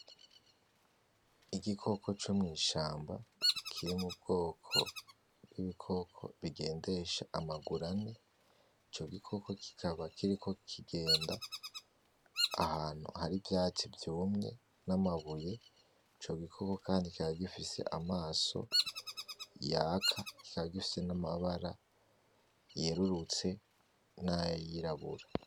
Igikoko co mw'ishamba kiri mu bwoko bw'ibikoko bigendesha amaguru ane, ico gikoko kikaba kiriko kigenda ahantu hari ivyatsi vyumye n'amabuye, ico gikoko kandi kikaba gifise amaso yaka kikaba gifise n'amabara yeruruse nay'irabura.